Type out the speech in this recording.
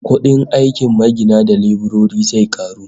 Kudin aikin magina da leburori zai karu